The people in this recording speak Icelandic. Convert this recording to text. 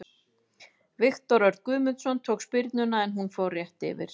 Viktor Örn Guðmundsson tók spyrnuna en hún fór rétt yfir.